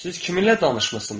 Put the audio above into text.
Siz kiminlə danışmısınız?